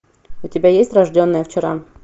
у тебя есть рожденная вчера